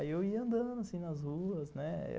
Aí eu ia andando, assim, nas ruas, né?